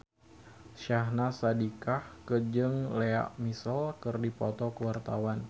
Syahnaz Sadiqah jeung Lea Michele keur dipoto ku wartawan